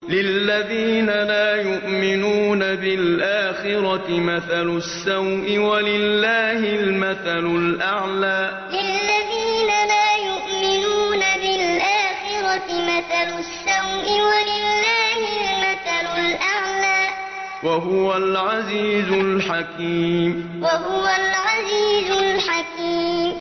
لِلَّذِينَ لَا يُؤْمِنُونَ بِالْآخِرَةِ مَثَلُ السَّوْءِ ۖ وَلِلَّهِ الْمَثَلُ الْأَعْلَىٰ ۚ وَهُوَ الْعَزِيزُ الْحَكِيمُ لِلَّذِينَ لَا يُؤْمِنُونَ بِالْآخِرَةِ مَثَلُ السَّوْءِ ۖ وَلِلَّهِ الْمَثَلُ الْأَعْلَىٰ ۚ وَهُوَ الْعَزِيزُ الْحَكِيمُ